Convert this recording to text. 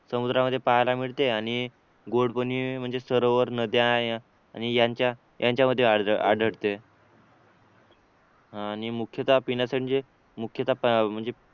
समुद्रामध्ये पाहायला मिळते आणि गोड पाणी म्हणजे सरोवर नद्या आणि यांच्या यांच्यामध्ये आढळते आणि मुख्यतः पिण्याचे मुख्यतः म्हणजे